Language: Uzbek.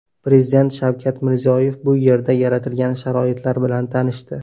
Prezident Shavkat Mirziyoyev bu yerda yaratilgan sharoitlar bilan tanishdi.